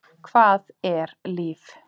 Hvað er líf?